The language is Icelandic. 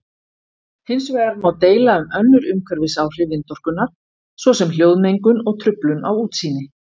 Hins vegar má deila um önnur umhverfisáhrif vindorkunnar svo sem hljóðmengun og truflun á útsýni.